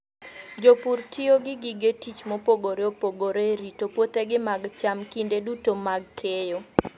Jopur tiyo gi gige tich mopogore opogore e rito puothegi mag cham kinde duto mag keyo.